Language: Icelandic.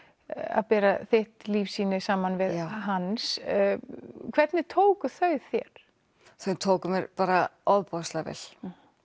að bera þitt lífssýni saman við hans hvernig tóku þau þér þau tóku mér bara ofboðslega vel